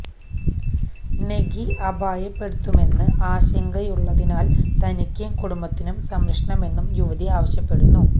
നെഗി അപായപ്പെടുത്തുമെന്ന് ആശങ്കയുള്ളതിനാല് തനിക്കും കുടുംബത്തിനും സംരക്ഷണമെന്നും യുവതി ആവശ്യപ്പെടുന്നു